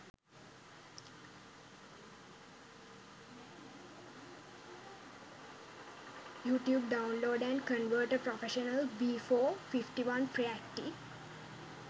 youtube downloader and converter professional v 4 51 preacti